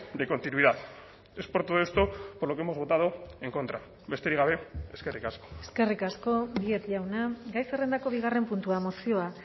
de continuidad es por todo esto por lo que hemos votado en contra besterik gabe eskerrik asko eskerrik asko díez jauna gai zerrendako bigarren puntua mozioa